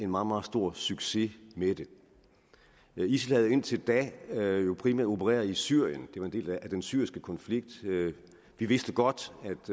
meget stor succes med det isil havde indtil da jo primært opereret i syrien det var en del af den syriske konflikt vi vidste godt